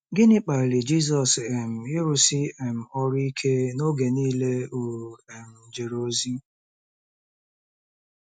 Gịnị kpaliri Jizọs um ịrụsi um ọrụ ike n’oge niile o um jere ozi?